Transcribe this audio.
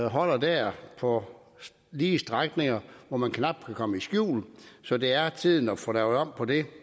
holder der på lige strækninger hvor man knap kan komme i skjul så det er tiden at få lavet om på det